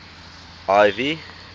ivy